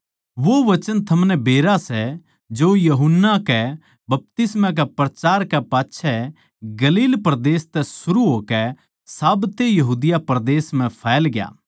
वो वचन थमनै बेरा सै जो यूहन्ना के बपतिस्मा के प्रचार कै पाच्छै गलील परदेस तै सरू होकै साब्ते यहूदा परदेस म्ह फैलग्या